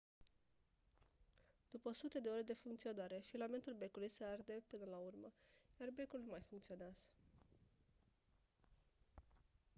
după sute de ore de funcționare filamentul becului se arde până la urmă iar becul nu mai funcționează